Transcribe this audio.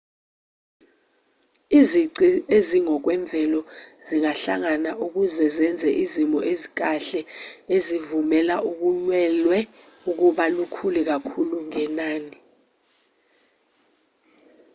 izici ezingokwemvelo zingahlangana ukuze zenze izimo ezikahle ezivumela ulwelwe ukuba lukhule kakhulu ngenani